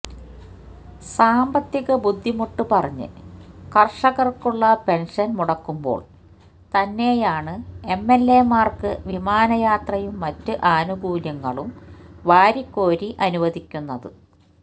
സാമ്പത്തിക ബുദ്ധിമുട്ട് പറഞ്ഞ് കര്ഷകര്ക്കുള്ള പെന്ഷന് മുടക്കുമ്പോള് തന്നെയാണ് എംഎല്എമാര്ക്ക് വിമാനയാത്രയും മറ്റ് ആനുകൂല്യങ്ങളും വാരിക്കോരി അനുവദിക്കുന്നത്